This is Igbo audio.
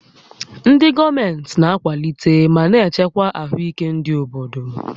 Ndị gọọmentị na-akwalite ma na-echekwa ahụike ndị obodo